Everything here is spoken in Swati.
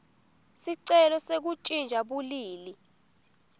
sicelo sekuntjintja bulili